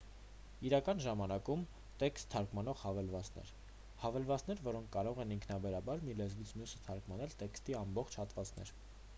իրական ժամանակում տեքստ թարգմանող հավելվածներ հավելվածներ որոնք կարող են ինքնաբերաբար մի լեզվից մյուսը թարգմանել տեքստի ամբողջ հատվածներ